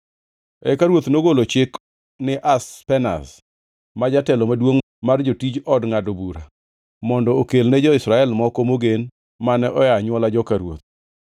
Eka ruoth nogolo chik ni Ashpenaz, ma jatelo maduongʼ mar jotij od ngʼado bura mondo okelne jo-Israel moko mogen mane oa e anywola joka ruoth,